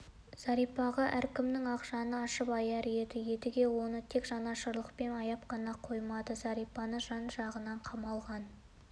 зәрипаға әркімнің-ақ жаны ашып аяр еді едіге оны тек жанашырлықпен аяп қана қоймады зәрипаны жан-жағынан қамалаған